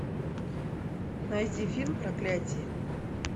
найди фильм проклятие